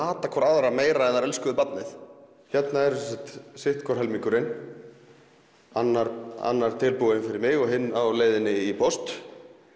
hatað hvor aðra meira en þær elskuðu barnið hér er sitt hvor helmingurinn annar annar tilbúinn fyrir mig og hinn á leiðinni í póst